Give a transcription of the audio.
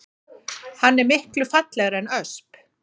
Hann er miklu fallegri en ösp